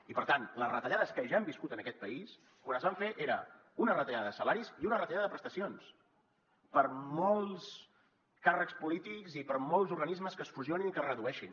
i per tant les retallades que ja hem viscut en aquest país quan es van fer eren una retallada de salaris i una retallada de prestacions per molts càrrecs polítics i per molts organismes que es fusionin i que es redueixin